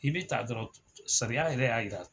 I bi ta dɔrɔn, sariya yɛrɛ y'a yira.